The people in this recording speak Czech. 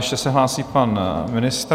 Ještě se hlásí pan ministr.